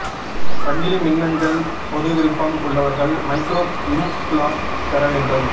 சங்கிலி மின்னஞ்சல் பொது விருப்பம் உள்ளவர்கள் மைக்ரோப் இம்ப்லாப் பெற வேண்டும்